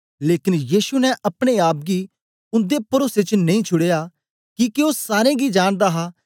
लेकन यीशु ने अपने आप गी उन्दे परोसे च नेई छुडया किके ओ सारें गी जानदा हा